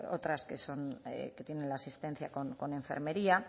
otras que son que tienen la asistencia con enfermería